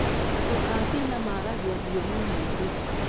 Andũ a Kenya maragia thiomi nyingĩ.